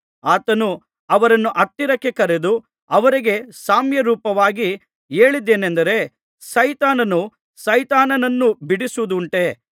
ಆತನು ಅವರನ್ನು ಹತ್ತಿರಕ್ಕೆ ಕರೆದು ಅವರಿಗೆ ಸಾಮ್ಯರೂಪವಾಗಿ ಹೇಳಿದ್ದೇನಂದರೆ ಸೈತಾನನು ಸೈತಾನನನ್ನು ಬಿಡಿಸುವುದುಂಟೇ